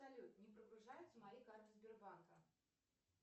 салют не прогружаются мои карты сбербанка